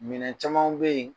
Minɛn camanw be ye